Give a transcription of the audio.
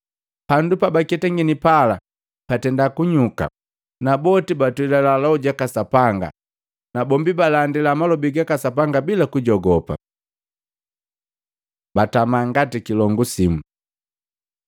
Pabajomulya kunndoba Sapanga, pandu pabaketangini pala patenda kunyuka na boti batwelila loho jaka Sapanga. Na boti balandila malobi gaka Sapanga bila kujogopa. Batama ngati kilongu simu